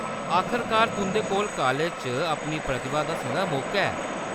आखरकार तुंʼदे कोल कालेज च अपनी प्रतिभा दस्सने दा मौका ऐ।